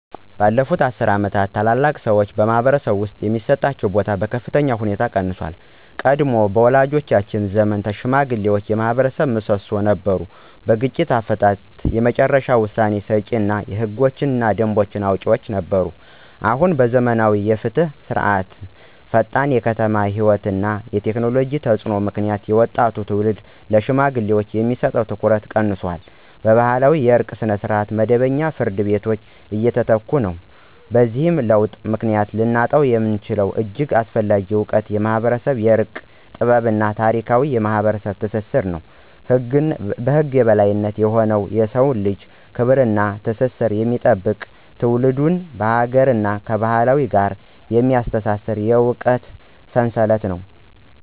ባለፉት አስርት ዓመታት፣ ታላላቅ ሰዎች በማኅበረሰብ ውስጥ የሚሰጣቸው ቦታ በከፍተኛ ሁኔታ ቀንሷል። ቀድሞ በወላጆቻችን ዘመን ሽማግሌዎች የማኅበረሰብ ምሰሶ ነበሩ። በግጭት አፈታትም የመጨረሻ ውሳኔ ሰጪዎች እና ህጎችንና ደንቦችን አውጪዎችም ነበሩ። አሁን በዘመናዊ የፍትህ ስርዓቶችዐፈጣን የከተማ ሕይወት እና የቴክኖሎጂ ተፅዕኖ ምክንያት የወጣቱ ትውልድ ለሽማግሌዎች የሚሰጠው ትኩረት ቀንሷል። ባህላዊ የእርቅ ስርዓቶች በመደበኛ ፍርድ ቤቶች እየተተኩ ነው። በዚህ ለውጥ ምክንያት ልናጣው የምንችለው እጅግ አስፈላጊ እውቀት የማኅበረሰብ የእርቅ ጥበብ እና ታሪካዊ ማኅበራዊ ትስስር ነው። ከህግ በላይ የሆነ የሰውን ልጅ ክብር እና ትስስር የሚጠብቅ፣ ትውልድን ከአገርና ከባህል ጋር የሚያስተሳስር የእውቀት ሰንሰለት ነው።